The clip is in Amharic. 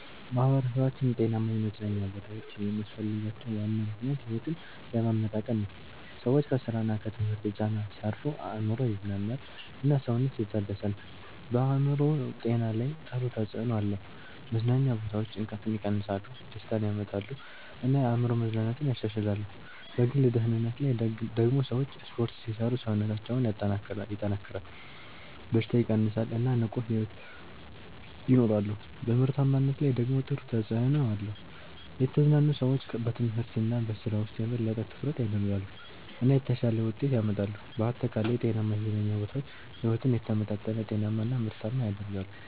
ማህበረሰቦች ጤናማ የመዝናኛ ቦታዎች የሚያስፈልጋቸው ዋና ምክንያት ሕይወትን ለማመጣጠን ነው። ሰዎች ከስራ እና ከትምህርት ጫና ሲያርፉ አእምሮ ይዝናናል እና ሰውነት ይታደሳል። በአእምሮ ጤና ላይ ጥሩ ተጽዕኖ አለው። መዝናኛ ቦታዎች ጭንቀትን ይቀንሳሉ፣ ደስታ ያመጣሉ እና የአእምሮ መዝናናትን ያሻሽላሉ። በግል ደህንነት ላይ ደግሞ ሰዎች ስፖርት ሲሰሩ ሰውነታቸው ይጠናከራል፣ በሽታ ይቀንሳል እና ንቁ ሕይወት ይኖራሉ። በምርታማነት ላይ ደግሞ ጥሩ ተጽዕኖ አለው። የተዝናኑ ሰዎች በትምህርት እና በስራ ውስጥ የበለጠ ትኩረት ያደርጋሉ እና የተሻለ ውጤት ያመጣሉ። በአጠቃላይ ጤናማ የመዝናኛ ቦታዎች ሕይወትን የተመጣጠነ፣ ጤናማ እና ምርታማ ያደርጋሉ።